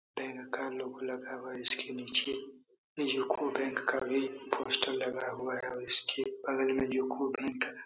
bank का logo लगा हुआ है इसके नीचे यूको बैंक का भी का पोस्टर लगा हुआ है और इसके बगल में यूको बैंक --